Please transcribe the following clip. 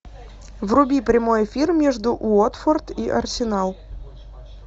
вруби прямой эфир между уотфорд и арсенал